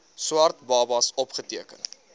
swart babas opgeteken